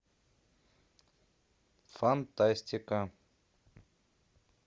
фантастика